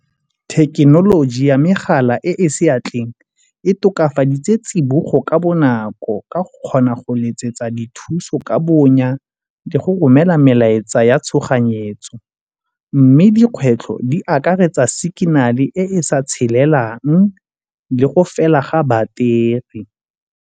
Thekenoloji ya megala e e seatleng e tokafaditse tsibogo ka bonako ka go kgona go letsetsa dithuso ka bonya le go romela la melaetsa ya tshoganyetso. Mme dikgwetlho di akaretsa signal e sa tshelelang le go fela ga battery.